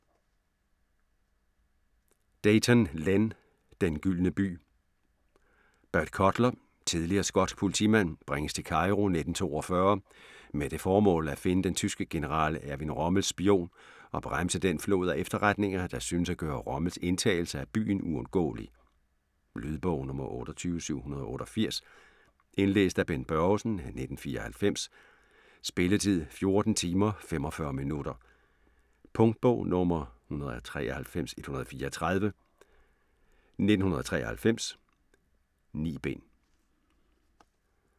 Deighton, Len: Den gyldne by Bert Cutler, tidligere skotsk politimand, bringes til Cairo 1942 med det formål at finde den tyske general Erwin Rommels spion og bremse den flod af efterretninger, der synes at gøre Rommels indtagelse af byen uundgåelig. Lydbog 28788 Indlæst af Bent Børgesen, 1994. Spilletid: 14 timer, 45 minutter. Punktbog 193134 1993. 9 bind.